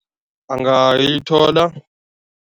Angayithola.